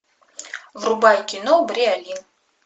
врубай кино бриолин